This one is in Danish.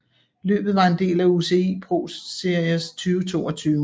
Løbet var en del af UCI ProSeries 2022